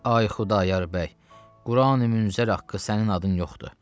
Ay Xudayar bəy, Qurani-Münzər haqqı sənin adın yoxdur.